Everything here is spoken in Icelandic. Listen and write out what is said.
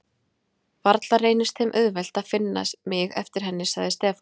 Varla reynist þeim auðvelt að finna mig eftir henni sagði Stefán.